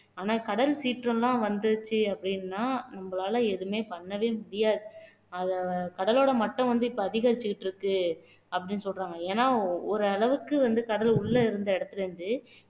ஆனா கடல் சீற்றம் எல்லாம் வந்துச்சு அப்படின்னா நம்மளால எதுவுமே பண்ணவே முடியாது அத கடலோட மட்டம் வந்து இப்ப அதிகரிச்சிட்டு இருக்கு அப்படினு சொல்றாங்க ஏன்னா ஒரு அளவுக்கு வந்து கடல் உள்ள இருந்த இடத்துல இருந்து